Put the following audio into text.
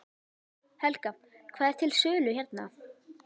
Helga: Hvað er til sölu hérna?